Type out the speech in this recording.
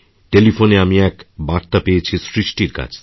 টেলিফোনে আমি এক বার্তা পেয়েছি সৃষ্টিরকাছ থেকে